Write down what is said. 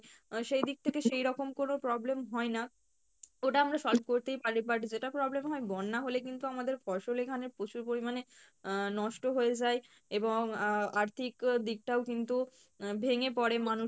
আহ সেইদিক থেকে সেইরকম কোনো problem হয়না, ওটা আমরা solve করতেই পারি but যেটা problem হয় বন্যা হলে কিন্তু আমাদের ফসল এখানে প্রচুর পরিমানে আহ নষ্ট হয়ে যাই এবং আহ আর্থিক দিকটাও কিন্তু আহ ভেঙে পরে মানুষের